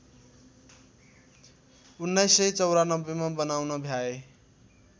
१९९४ मा बनाउन भ्याए